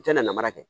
I tɛna namara kɛ